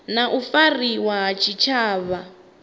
na u fariwa ha tshitshavha